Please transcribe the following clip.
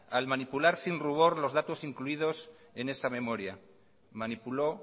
al manipular sin rubor los datos incluidos en esa memoria manipuló